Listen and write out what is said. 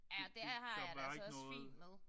Ja det har jeg det altså også fint med!